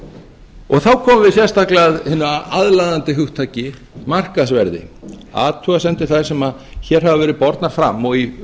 þá þá komum við sérstaklega að hinu aðlaðandi hugtaki markaðsverði athugasemdir þær sem hér hafa verið bornar fram og í